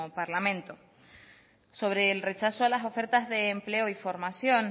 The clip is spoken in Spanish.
parlamento sobre el rechazo a las ofertas de empleo y formación